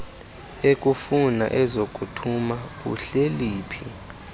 ekufuna ezakuthuma uhleliphi